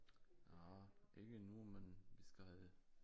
Nej ikke endnu men vi skal